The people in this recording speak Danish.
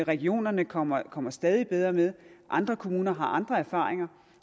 regionerne kommer kommer stadig bedre med og andre kommuner har andre erfaringer